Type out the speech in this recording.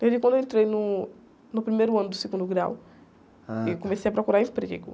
Desde quando eu entrei no, no primeiro ano do segundo grau eu comecei a procurar emprego.